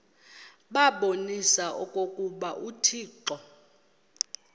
babonise okokuba uthixo